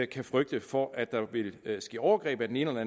kan frygte for at der vil ske overgreb af den ene eller